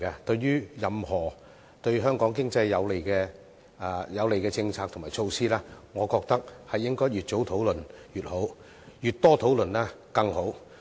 對於任何對香港經濟有利的政策和措施，我認為越早討論越好，越多討論更好。